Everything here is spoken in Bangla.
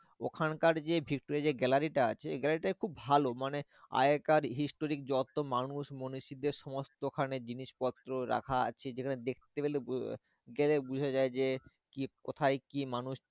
ওখানকার যে ভিক্টোরিয়া যে gallery টা আছে ওই gallery টা খুব ভালো মানে আগেকার historic যত মানুষ মনীষীদের সমস্ত ওখানে জিনিসপত্র রাখা আছে যেখানে দেখতে গেলে বোঝা যায় যে কি কোথায় কি মানুষ